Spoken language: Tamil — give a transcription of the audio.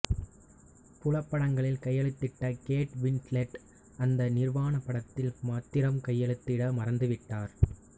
புல படங்களில் கையெழுத்திட்ட கேட் வின்ஸ்லெட் அந்த நிர்வாண படத்தில் மாத்திரம் கையெழுத்திட மறுத்துவிட்டார